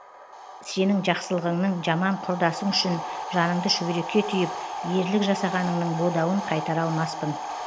сенің жақсылығыңның жаман құрдасың үшін жаныңды шүберекке түйіп ерлік жасағаныңның бодауын қайтара алмаспын